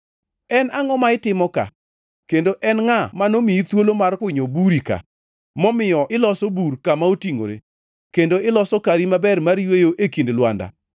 En angʼo ma itimo ka, kendo en ngʼa manomiyi thuolo mar kunyo buri ka, momiyo iloso bur kama otingʼore, kendo iloso kari maber mar yweyo e kind lwanda?